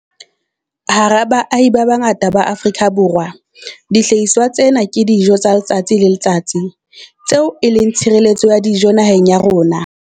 Hara baahi ba bangata ba Afrika Borwa, dihlahiswa tsena ke dijo tsa letsatsi le letsatsi, tseo e leng tshireletso ya dijo naheng ya rona.